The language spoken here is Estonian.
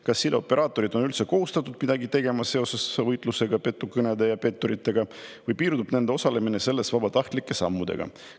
Kas sideoperaatorid on üldse kohustatud midagi tegema seoses võitlusega petukõnede ja petturitega või piirdub nende osalemine selles vabatahtlike sammudega?